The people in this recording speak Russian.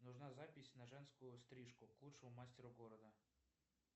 нужна запись на женскую стрижку к лучшему мастеру города